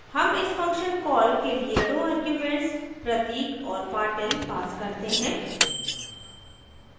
हम इस function call के लिए दो arguments pratik और patil pass करते हैं